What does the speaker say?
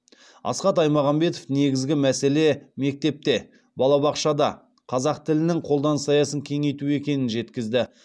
асхат аймағамбетов негізгі мәселе мектепте балабақшада қазақ тілінің қолданыс аясын кеңейту екенін жеткізді